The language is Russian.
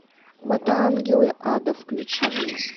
мотоангелы ада включи мне